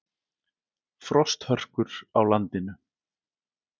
Frosthörkur á landinu